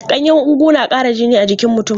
Ganyen ugu na ƙara jini a jikin mutum.